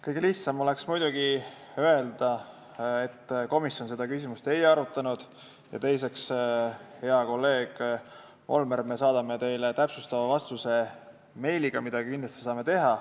Kõige lihtsam oleks muidugi öelda, et komisjon seda küsimust ei arutanud, ja teiseks saaks öelda, hea kolleeg Volmer, et me saadame teile täpsustava vastuse meiliga, mida me kindlasti saame teha.